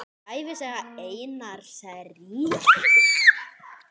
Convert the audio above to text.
Ævisaga Einars ríka